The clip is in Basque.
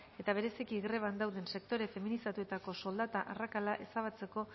eta bereziki greban dauden sektore feminizatuetako soldata arrakala ezabatzeko